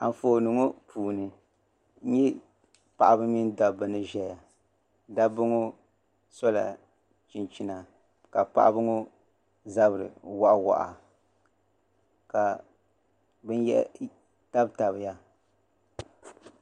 Anfooni ni ŋɔ puuni n nye paɣaba mini dabba ni ʒeya dabba ŋɔ sola chinchina ka paɣaba ŋɔ zabiri waɣawaha ka binyahari tabitabiya.